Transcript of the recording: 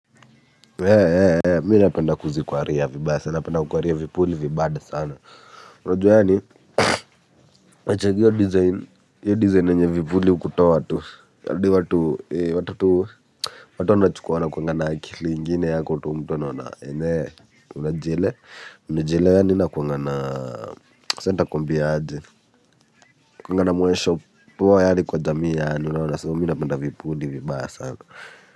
Hee hee mimi napenda kuzikwaria napenda kukwaria vipuli vibad sana unajua yaani nachagua design hiyo design yenye vipuli hukutoa tu kadri watu tu watu wanachukua wanakuwangana na akili ingine yako tu mtu anaona enyewe unajiele unajielewa yaani nakuanga na sasa nitakuambia aje inakuwanga na muonesho poa yaani kwa jamii yaani unaona so minapenda vipuli vibaya sana.